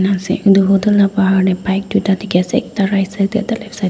etu hotel laga bahar te bike duita dekhi ase ekta right side te ekta left side te.